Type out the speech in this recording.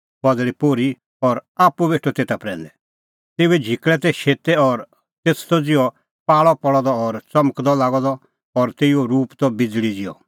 तेऊए झिकल़ै तै शेतै और तेथ त ज़िहअ पाल़अ पल़अ द और च़मकदअ लागअ द और तेऊओ रूप त बिज़ल़ी ज़िहअ